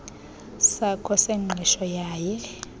sakho sengqesho yaye